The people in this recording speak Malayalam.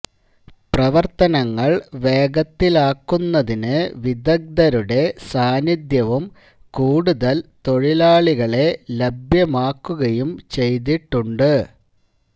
പ്രവര്ത്തനങ്ങള് വേഗത്തിലാക്കുന്നതിന് വിദഗ്ധരുടെ സാന്നിധ്യവും കൂടുതല് തൊഴിലാളികളെ ലഭ്യമാക്കുകയും ചെയ്തിട്ടുണ്ട്